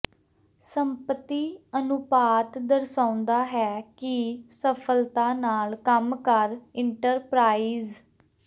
ਸੰਪਤੀ ਅਨੁਪਾਤ ਦਰਸਾਉਦਾ ਹੈ ਕਿ ਸਫਲਤਾ ਨਾਲ ਕੰਮ ਕਰ ਇੰਟਰਪਰਾਈਜ਼